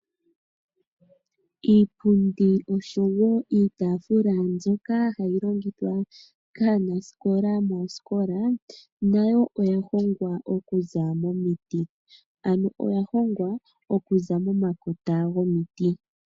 Iipundi osho wo iitaafula mbyoka hayi longithwa kaanasikola moosikola nayo oya hongwa momiti ano oya hongwa okuza momakota gomiti.